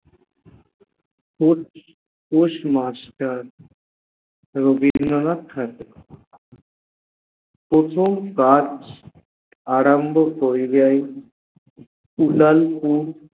post postmaster Rabindranath Thakur প্রথম কাজ আরম্ভ অনু যাই উথাল ফু